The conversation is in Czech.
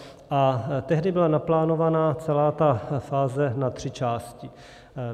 A tehdy byla naplánovaná celá ta fáze na tři části.